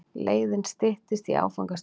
Leiðin styttist í áfangastaðinn.